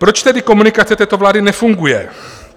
Proč tedy komunikace této vlády nefunguje?